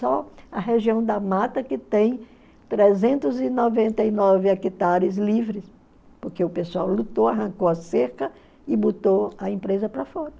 Só a região da mata que tem trezentos e noventa e nove hectares livres, porque o pessoal lutou, arrancou a cerca e botou a empresa para fora.